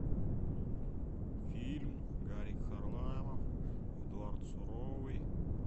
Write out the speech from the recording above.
фильм гарик харламов эдуард суровый